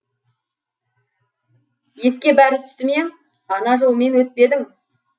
еске бәрі түсті ме ана жолмен өтпедің